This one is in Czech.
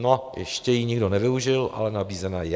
No, ještě ji nikdo nevyužil, ale nabízena je.